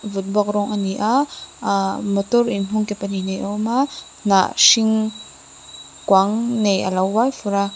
vut bawk rawng ani a ahh motor in hung ke pahnih nei a awm a hnah hring kuang nei alo uai fur a--